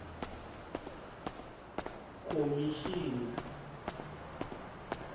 khomixini